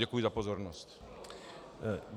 Děkuji za pozornost.